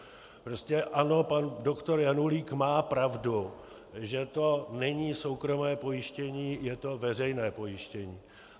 Prostě ano, pan doktor Janulík má pravdu, že to není soukromé pojištění, je to veřejné pojištění.